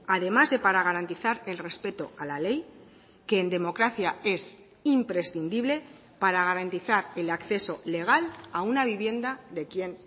además de para garantizar el respeto a la ley que en democracia es imprescindible para garantizar el acceso legal a una vivienda de quien